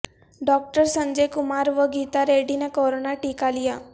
doctor Sanjay Kumar و گیتا ریڈی نے corona ٹیکہ لیا